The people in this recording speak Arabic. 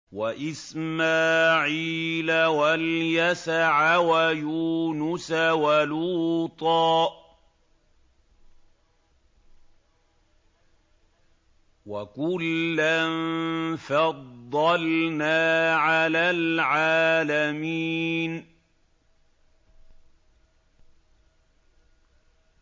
وَإِسْمَاعِيلَ وَالْيَسَعَ وَيُونُسَ وَلُوطًا ۚ وَكُلًّا فَضَّلْنَا عَلَى الْعَالَمِينَ